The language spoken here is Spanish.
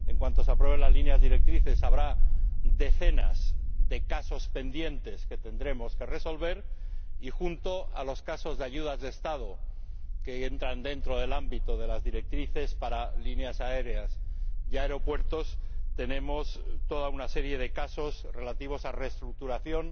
En cuanto se aprueben las líneas directrices habrá decenas de casos pendientes que tendremos que resolver junto a los casos de ayudas de Estado que entran dentro del ámbito de las directrices para líneas aéreas y aeropuertos, tenemos toda una serie de casos relativos a la reestructuración